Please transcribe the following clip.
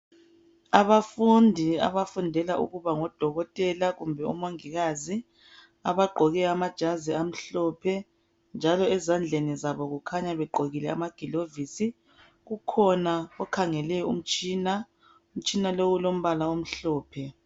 Abafundi abafundela ukuba ngodokotela kumbe omongikazi ,abagqoke amajazi amhlophe njalo ezandleni zabo kukhanya begqokile amaglovisi. Kukhona okhangele umtshina. Umtshina lo ulombala omhlophe.